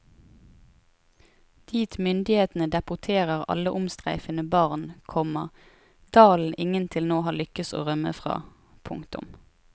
Dit myndighetene deporterer alle omstreifende barn, komma dalen ingen til nå har lykkes å rømme fra. punktum